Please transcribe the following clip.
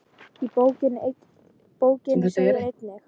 Í bókinni segir einnig